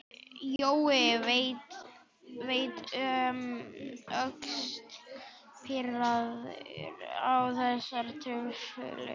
Jói leit um öxl, pirraður á þessari truflun.